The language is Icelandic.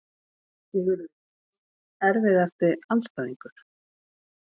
Sigurður Jónsson Erfiðasti andstæðingur?